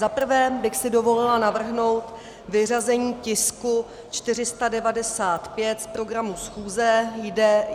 Za prvé bych si dovolila navrhnout vyřazení tisku 495 z programu schůze.